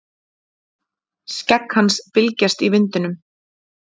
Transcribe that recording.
Skegg hans bylgjast í vindinum.